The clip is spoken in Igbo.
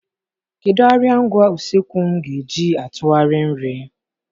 Kedu arịa ngwa usekwu m ga-eji atụgharị nri?